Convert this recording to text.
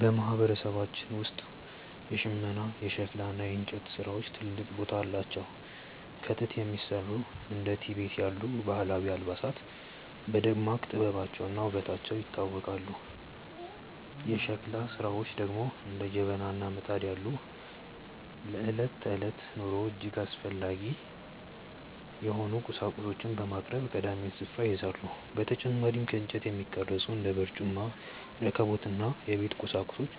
በማህበረሰባችን ውስጥ የሽመና፣ የሸክላ እና የእንጨት ስራዎች ትልቅ ቦታ አላቸው። ከጥጥ የሚሰሩ እንደ ቲቤት ያሉ ባህላዊ አልባሳት በደማቅ ጥበባቸውና ውበታቸው ይታወቃሉ። የሸክላ ስራዎች ደግሞ እንደ ጀበና እና ምጣድ ያሉ ለዕለት ተዕለት ኑሮ እጅግ አስፈላጊ የሆኑ ቁሳቁሶችን በማቅረብ ቀዳሚውን ስፍራ ይይዛሉ። በተጨማሪም ከእንጨት የሚቀረጹ እንደ በርጩማ፣ ረከቦት እና የቤት ቁሳቁሶች